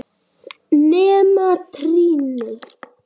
Nema trýnið.